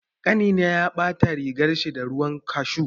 Ƙanina ya ɓata rigarshi da ruwan kashu.